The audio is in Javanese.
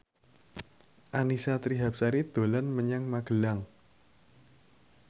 Annisa Trihapsari dolan menyang Magelang